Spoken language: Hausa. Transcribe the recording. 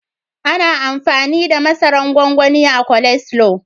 Ana amfani da mazaran gwangwani a coleslaw.